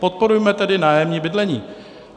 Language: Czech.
Podporujme tedy nájemní bydlení.